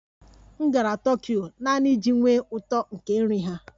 M gara Tokyo naanị iji nwee uto nke nri ha